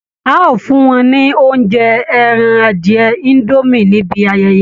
Á ó fún wọn ní oúnjẹ ẹran adìyẹ indomie níbi ayẹyẹ